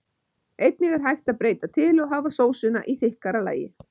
Einnig er hægt að breyta til og hafa sósuna í þykkara lagi.